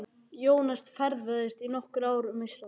Jónas ferðaðist í nokkur ár um Ísland.